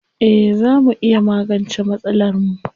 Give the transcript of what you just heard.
Eh zaa mu iya magance masalarmu.